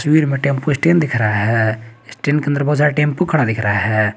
तस्वीर में tempo stand दिख रहा है स्टैंड के अंदर बहोत सारा टेंपू दिख रहा है।